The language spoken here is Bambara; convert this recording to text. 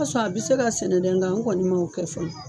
B'a sɔ a bɛ se ka sɛnɛ dɛ nka n kɔni m'o kɛ fɔlɔ.